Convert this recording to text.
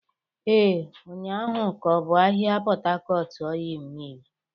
Ee, ụnyahụ ka ọ bụ ahịa Port Harcourt Ọịyị Mịl.